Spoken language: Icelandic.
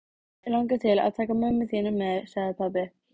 Mig langar til að taka mömmu þína með sagði pabbi.